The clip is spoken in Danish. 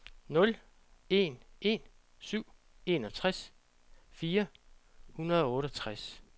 nul en en syv enogtres fire hundrede og otteogtres